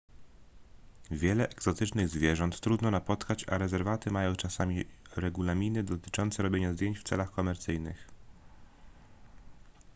wiele egzotycznych zwierząt trudno napotkać a rezerwaty mają czasami regulaminy dotyczące robienia zdjęć w celach komercyjnych